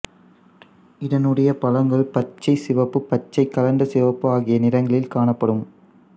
இதனுடைய பழங்கள் பச்சை சிவப்பு பச்சை கலந்த சிவப்பு ஆகிய நிறங்களில் காணப்படும்